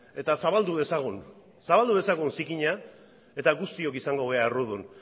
eta zabaldu dezagun zabaldu dezagun zikina eta guztiok izango gera errudun